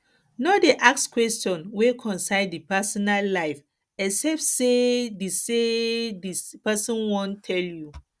no dey ask question wey concern di personal life except sey di sey di person wan tell you